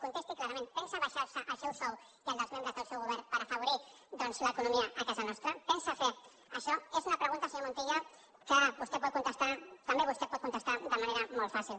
contesti clarament pensa abaixarse el seu sou i el dels membres del seu govern per afavorir doncs l’economia a casa nostra pensa fer això és una pregunta senyor montilla que també vostè pot contestar de manera molt fàcil